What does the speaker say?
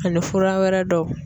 Ani fura wɛrɛ dɔw.